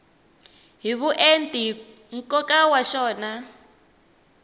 hi vuenti nkoka wa xona